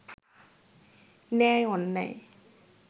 ন্যায় অন্যায়